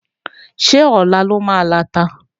Ṣé Ọ̀la la máa lọta?